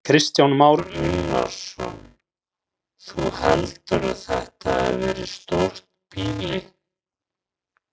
Kristján Már Unnarsson: Þú heldur að þetta hafi verið stórt býli?